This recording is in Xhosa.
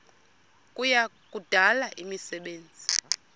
kuya kudala imisebenzi